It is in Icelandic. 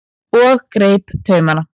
og greip taumana.